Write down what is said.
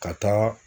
Ka taa